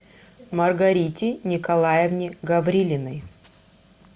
маргарите николаевне гаврилиной